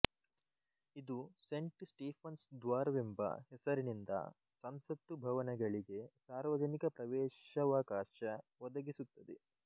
ಇದು saint Stephen's ದ್ವಾರ ವೆಂಬ ಹೆಸರಿನಿಂದ ಸಂಸತ್ತು ಭವನಗಳಿಗೆ ಸಾರ್ವಜನಿಕ ಪ್ರವೇಶವಕಾಶ ಒದಗಿಸುತ್ತದೆ